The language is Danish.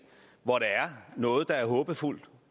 hvor der er noget der er håbefuldt